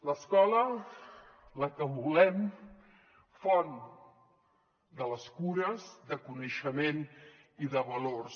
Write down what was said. l’escola la que volem font de les cures de coneixement i de valors